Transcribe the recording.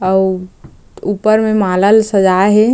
अउ ऊपर में माला-ल सजाए हे।